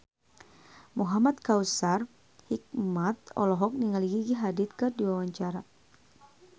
Muhamad Kautsar Hikmat olohok ningali Gigi Hadid keur diwawancara